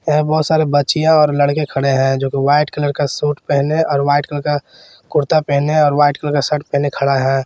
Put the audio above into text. यहाँ बहोत सारे बच्चियाँ और लड़के खड़े हैं जो वाइट कलर का सूट पहने और वाइट कलर का कुर्ता पहने और वाइट कलर का शर्ट पहने खड़ा है।